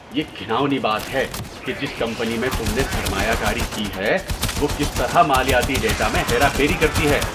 یہ گھناؤنی بات ہے کہ جس کمپنی میں تم نے سرمایہ کاری کی ہے وہ کس طرح مالیاتی ڈیٹا میں ہیرا پھیری کرتی ہے۔